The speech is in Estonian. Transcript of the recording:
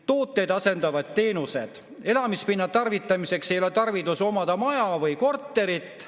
Tooteid asendavad teenused, elamispinna tarvitamiseks ei ole tarvidust omada maja või korterit.